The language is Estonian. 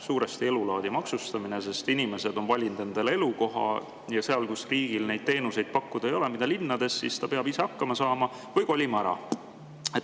Suuresti elulaadi maksustamine, sest inimesed on valinud endale elukoha ja seal, kus riigil pole pakkuda neid teenuseid, mida pakutakse linnades, peab ise hakkama saama või kolima ära.